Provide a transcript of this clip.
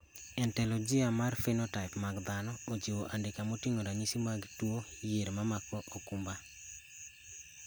Ontologia mar phenotype mag dhano ochiwo andika moting`o ranyisi mag tuo yier mamako okumba.